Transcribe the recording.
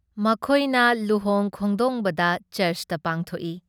ꯃꯈꯣꯏꯅ ꯂꯨꯍꯣꯡ ꯈꯣꯡꯗꯣꯡꯕꯗ ꯆꯔꯆꯇ ꯄꯥꯡꯊꯣꯛꯏ ꯫